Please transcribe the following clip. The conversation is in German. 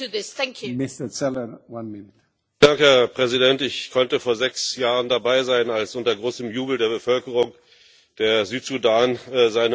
Herr Präsident! Ich konnte vor sechs Jahren dabei sein, als unter großem Jubel der Bevölkerung der Südsudan seine Unabhängigkeit in einem Referendum erlangte.